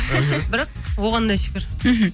бірақ оған да шүкір мхм